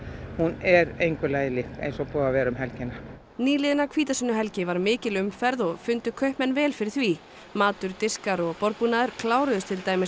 er engu lagi lík eins og var um helgina nýliðna hvítasunnuhelgi var mikil umferð og fundu kaupmenn vel fyrir því matur diskar og borðbúnaður kláruðust til dæmis